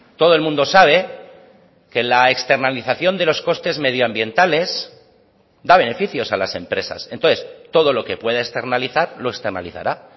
todo el mundo sabe que la externalización de los costes medioambientales da beneficios a las empresas entonces todo lo que puede externalizar lo externalizará